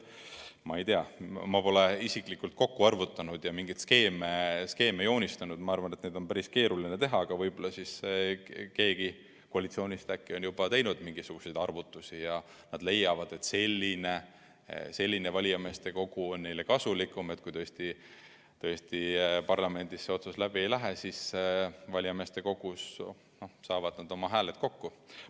Ma pole ise kokku arvutanud ja mingeid skeeme joonistanud, ma arvan, et neid on päris keeruline teha, aga võib-olla keegi koalitsioonist on juba teinud mingisuguseid arvutusi ja leidnud, et selline valijameeste kogu on neile kasulikum – et juhul kui tõesti parlamendis läbi ei lähe, siis valijameeste kogus saavad nad oma hääled kokku.